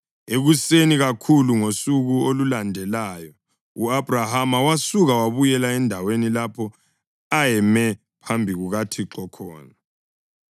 Ekuseni kakhulu ngosuku olulandelayo u-Abhrahama wasuka wabuyela endaweni lapho ayeme phambi kukaThixo khona.